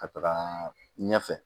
Ka taga ɲɛfɛ